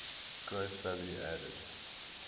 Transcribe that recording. gross value added